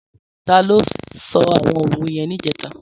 Tàló só áwòn ówé yèn nijètá?